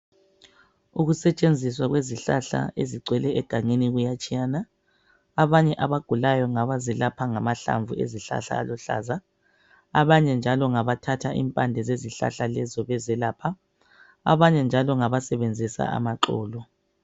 Ukusetshenziswa kwezihlahla ezigcwele egangeni kuyatshiyana. Abanye abagulayo ngabazelapha ngamahlamvu ezihlahla aluhlaza. Abanye njalo ngabathatha impande zezihlahla lezo bezelapha ,abanye njalo ngabasebenzisa amaxolo.